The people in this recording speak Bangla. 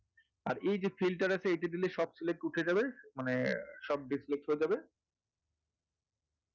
আর এইযে filter আছে এটা দিলে সব select উঠে যাবে মানে সব dis-select হয়ে যাবে,